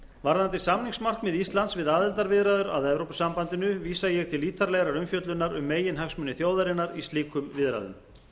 varðandi samningsmarkmið íslands við aðildarviðræður að evrópusambandinu vísa til ég til ítarlegrar umfjöllunar um meginhagsmuni þjóðarinnar í slíkum viðræðum